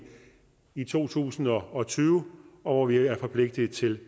i to tusind og tyve hvor vi er forpligtet til